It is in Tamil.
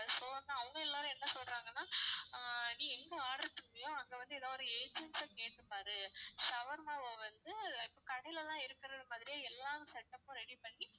so வந்து அவங்க எல்லாரும் என்ன சொல்றாங்கன்னா ஆஹ் நீ எங்க order பண்றியோ அங்க வந்து எதாவது ஒரு agent அ கேட்டுப்பாரு shawarma வ வந்து இப்போ கடைலலாம் இருக்குறது மாதிரியே எல்லா setup உம் ready பண்ணி